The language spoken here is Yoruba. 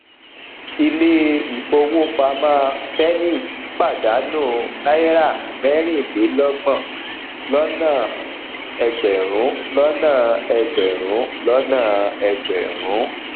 ìle ifówopàmọ zenith pàdánù náírà mẹrin le lọgbọn lọnà egberun lọnà egberun lọnà egberun